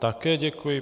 Také děkuji.